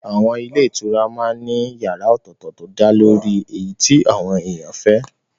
Àwọn ilé ìtura ní yàrá ọ̀tọ̀tọ̀ tó dálórí èyí tí àwọn èèyàn fẹ́